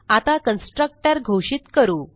आता कन्स्ट्रक्टर घोषित करू